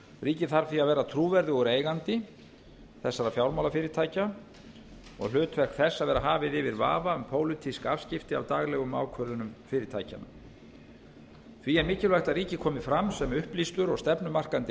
ríkið þarf því að vera trúverðugur eigandi þessara fjármálafyrirtækja og hlutverk þess að vera hafið yfir vafa um pólitísk afskipti af daglegum ákvörðunum fyrirtækjanna því er mikilvægt að ríkið komi fram sem upplýstur og stefnumarkandi